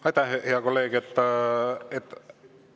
Aitäh, hea kolleeg!